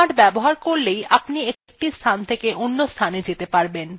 আমরা এখন এটি দেখব